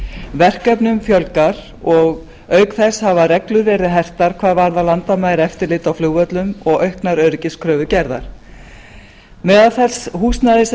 verkefnum fjölgar og auk þess hafa reglur verið hertar hvað varðar landamæraeftirlit á flugvöllum og auknar öryggiskröfur gerðar með þessu húsnæði sem